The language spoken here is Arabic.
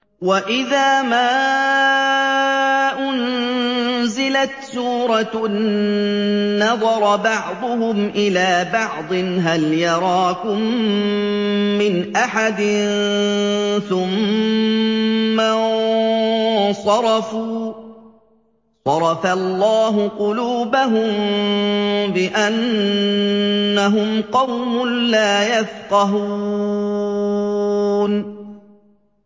وَإِذَا مَا أُنزِلَتْ سُورَةٌ نَّظَرَ بَعْضُهُمْ إِلَىٰ بَعْضٍ هَلْ يَرَاكُم مِّنْ أَحَدٍ ثُمَّ انصَرَفُوا ۚ صَرَفَ اللَّهُ قُلُوبَهُم بِأَنَّهُمْ قَوْمٌ لَّا يَفْقَهُونَ